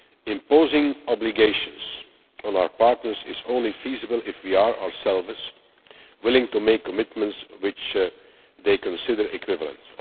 Imposing obligations on our partners is only feasible if we ourselves are willing to make commitments which they consider equivalent.